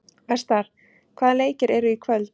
Vestar, hvaða leikir eru í kvöld?